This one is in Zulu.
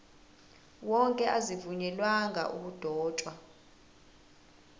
wonke azivunyelwanga ukudotshwa